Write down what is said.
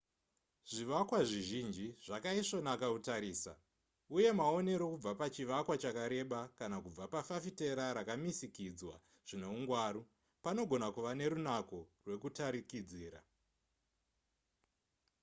zvivakwa zvizhinji zvakaisvonaka kutarisa uye maonero kubva pachivakwa chakareba kana kubva pafafitera rakamisikidzwa zvinehungwaru panogona kuve nerunako rwekutarikidzira